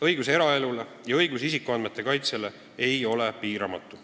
Õigus eraelule ja õigus isikuandmete kaitsele ei ole piiramatu.